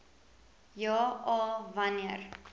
ja a wanneer